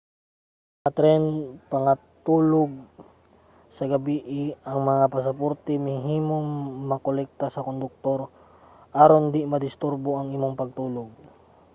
sa mga tren nga pangatulog sa gabii ang mga pasaporte mahimong makolekta sa konduktor aron dili madisturbo ang imong pagtulog